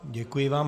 Děkuji vám.